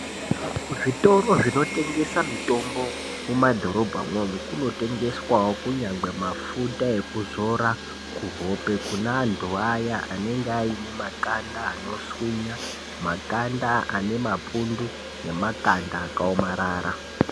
Kuzvitoro zvinotengesa mitombo kumadhorobha imwomo, kunotengeswawo kunyangwe mafuta ekuzora kuhope kune antu vaya anenge aine makanda anoswinya makanda ane mapundu nemakanda akaomarara.